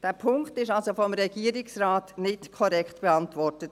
Dieser Punkt wurde also vom Regierungsrat nicht korrekt beantwortet.